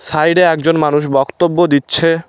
সাইডে একজন মানুষ বক্তব্য দিচ্ছে।